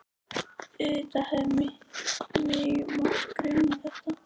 Auðvitað hefði mig átt að gruna þetta.